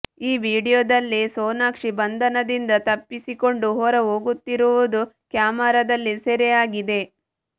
ಈ ವಿಡಿಯೋದಲ್ಲಿ ಸೋನಾಕ್ಷಿ ಬಂಧನದಿಂದ ತಪ್ಪಿಸಿಕೊಂಡು ಹೊರ ಹೋಗುತ್ತಿರುವುದು ಕ್ಯಾಮೆರಾದಲ್ಲಿ ಸೆರೆ ಆಗಿದೆ